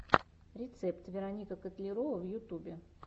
рецепт вероника котлярова в ютубе